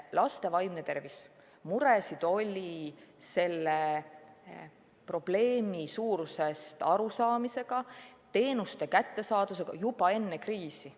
Laste vaimne tervis – muresid oli probleemi suurusest arusaamisega, teenuste kättesaadavusega juba enne kriisi.